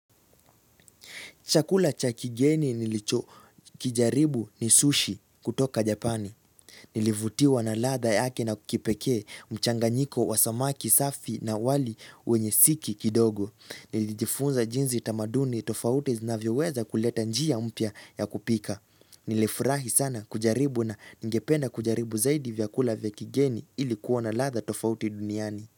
Chakula cha kigeni nilicho kijaribu ni sushi kutoka Japani. Nilivutiwa na ladha yake na kipekee mchanganyiko wa samaki safi na wali wenye siki kidogo. Nilijifunza jinsi tamaduni tofauti zinavyoweza kuleta njia mpya ya kupika. Nilifurahi sana kujaribu na ningependa kujaribu zaidi vyakula vya kigeni ilikuwa na ladha tofauti duniani.